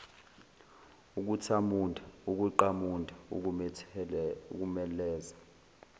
ukuthamunda ukuqamunda ukuthemeleza